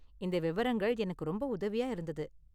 இந்த விவரங்கள் எனக்கு ரொம்ப உதவியா இருந்தது.